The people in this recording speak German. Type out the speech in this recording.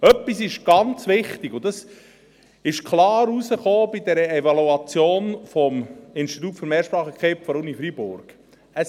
Etwas ist ganz wichtig, und das kam bei der Evaluation des Instituts für Mehrsprachigkeit der Uni Freiburg klar heraus: